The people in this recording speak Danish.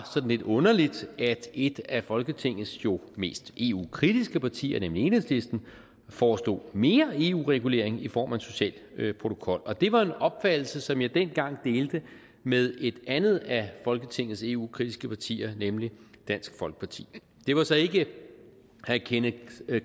sådan lidt underligt at et af folketingets jo mest eu kritiske partier nemlig enhedslisten foreslog mere eu regulering i form af en social protokol det var en opfattelse som jeg dengang delte med et andet af folketingets eu kritiske partier nemlig dansk folkeparti det var så ikke herre kenneth